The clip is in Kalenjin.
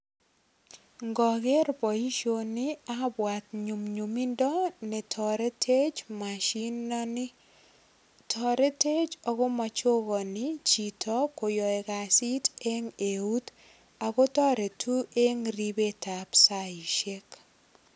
Ngoger boisioni abwat nyumnyumindo netoretech mashinoni. Toretech ago machogani chito koyoe kasit eng eut. Ago toretu eng ribetab saishek.